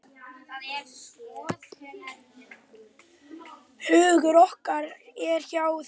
Hugur okkar er hjá þér.